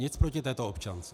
Nic proti této občance.